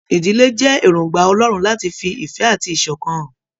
Ìdílé jẹ èròngbà Ọlọrun láti fí ìfẹ àti iṣọkan hàn.